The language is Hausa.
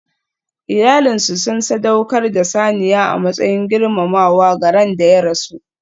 Iyalinsu sun sadaukar da saniya a matsayin girmamawa ga ran da ya rasu.